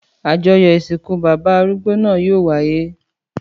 Àjọyọ̀ ìsìnkú bàbá arúgbó náà yóò wáyé.